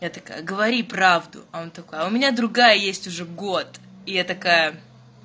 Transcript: я такая говори правду а он такой а у меня другая есть уже год и я такая